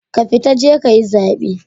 Ka fita je kayi zaɓe